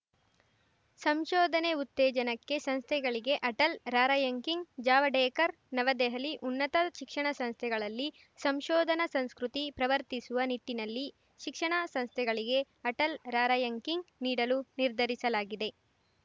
ಸಂಶೋಧನೆ ಉತ್ತೇಜನಕ್ಕೆ ಸಂಸ್ಥೆಗಳಿಗೆ ಅಟಲ್‌ ರಾರ‍ಯಂಕಿಂಗ್‌ ಜಾವಡೇಕರ್‌ ನವದೆಹಲಿ ಉನ್ನತ ಶಿಕ್ಷಣ ಸಂಸ್ಥೆಗಳಲ್ಲಿ ಸಂಶೋಧನಾ ಸಂಸ್ಕೃತಿ ಪ್ರವರ್ತಿಸುವ ನಿಟ್ಟಿನಲ್ಲಿ ಶಿಕ್ಷಣ ಸಂಸ್ಥೆಗಳಿಗೆ ಅಟಲ್‌ ರಾರ‍ಯಂಕಿಂಗ್‌ ನೀಡಲು ನಿರ್ಧರಿಸಲಾಗಿದೆ